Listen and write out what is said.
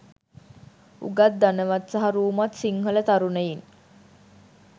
උගත් ධනවත් සහ රූමත් සිංහල තරුණයින්